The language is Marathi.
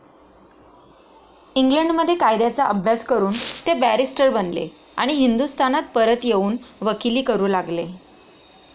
इंग्लंडमध्ये कायद्याचा अभ्यास करून ते बॅरिस्टर बनले आणि हिंदुस्थानात परत येऊन वकिली करू लागले.